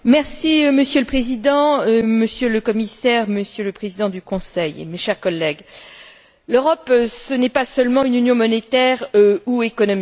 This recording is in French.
Monsieur le Président, Monsieur le Commissaire, Monsieur le Président du Conseil, mes chers collègues, l'Europe, ce n'est pas seulement une Union monétaire ou économique.